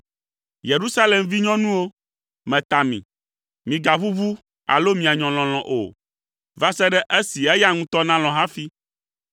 Yerusalem vinyɔnuwo, meta mi: migaʋuʋu alo mianyɔ lɔlɔ̃ o, va se ɖe esi eya ŋutɔ nalɔ̃ hafi.